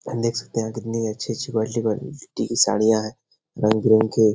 हम देख सकते है यहां कितनी अच्छी-अच्छी क्वालिटी क्वालिटी की साड़ियां है रंग-बिरंग के।